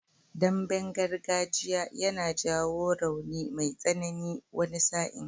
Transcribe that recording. Damben gargajiya yana jawo rauni mai tsanani wani sa'in.